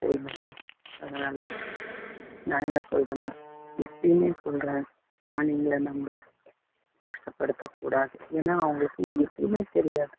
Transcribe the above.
சரிங்களா அதனால நான் என்ன சொல்றேன்னா எப்பயும் சொல்றேன் பிராணிகளை நம்ம கஷ்டப்படுத்தக்கூடாது ஏன்னா அவங்களுக்கு எதுவுமே தெரியாது